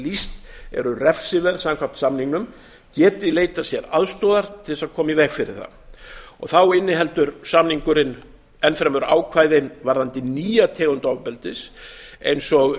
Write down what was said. lýst eru refsiverð samkvæmt samningnum geti leitað sér aðstoðar til að koma í veg fyrir það þá inniheldur samningurinn enn fremur ákvæðin varðandi nýja tegund ofbeldis eins og